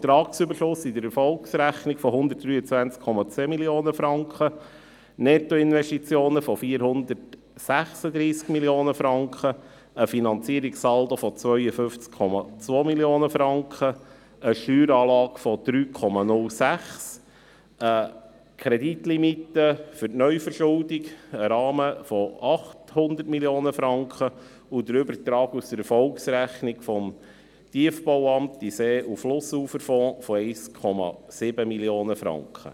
Ertragsüberschuss in der Erfolgsrechnung von 123,2 Mio. Franken, Nettoinvestitionen von 436 Mio. Franken, ein Finanzierungssaldo von 52,2 Mio. Franken, eine Steueranlage von 3,06, eine Kreditlimite für Neuverschuldungen mit einem Rahmen von 800 Mio. Franken sowie der Übertrag aus der Erfolgsrechnung des Tiefbauamts in den See- und Flussuferfonds von 1,7 Mio. Franken.